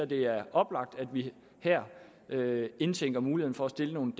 det er oplagt at vi her her indtænker muligheden for at stille nogle